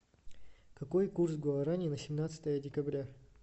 какой курс гуарани на семнадцатое декабря